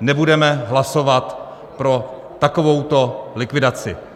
nebudeme hlasovat pro takovouto likvidaci.